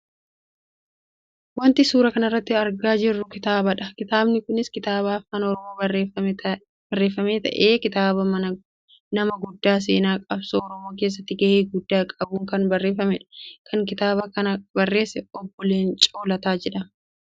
Wanti suuraa kanarratti argaa jiru kitaaba dha. Kitaabni kunis kitaaba afaan Oromoon barreefame ta'ee kitaaba nama guddaa seenaa qabsoo oromoo keessatti gahee guddaa qabuun kan barreefamedha. Kan kitaaba kana barreesse Obbo Leencoo Lataa jedhama.